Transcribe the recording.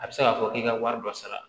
A bɛ se k'a fɔ k'i ka wari dɔ sara